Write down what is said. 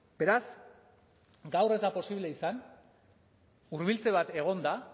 beraz gaur ez da posible izan hurbiltze bat egon da